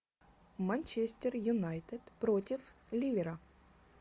манчестер юнайтед против ливера